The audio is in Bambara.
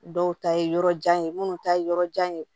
Dɔw ta ye yɔrɔ jan ye minnu ta ye yɔrɔ jan ye